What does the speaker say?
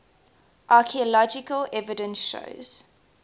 archaeological evidence shows